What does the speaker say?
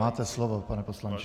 Máte slovo, pane poslanče.